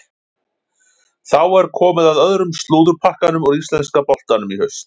Þá er komið að öðrum slúðurpakkanum úr íslenska boltanum í haust.